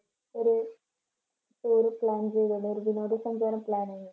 ഒരു tour plan ചെയ്യുന്നുണ്ട്. ഒരു വിനോദ സഞ്ചാരം plan